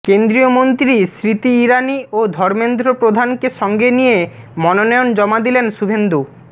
কেন্দ্রীয় মন্ত্রী স্মৃতি ইরানি ও ধর্মেন্দ্র প্রধানকে সঙ্গে নিয়ে মনোনয়ন জমা দিলেন শুভেন্দু